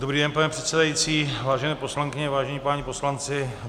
Dobrý den, pane předsedající, vážené poslankyně, vážení páni poslanci.